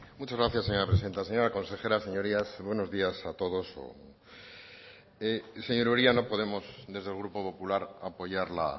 muchas gracias señora presidenta señora consejera señorías buenos días a todos señor uria no podemos desde el grupo popular apoyar la